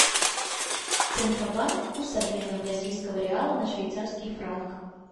центробанк курс обмена бразильского реала на швейцарский франк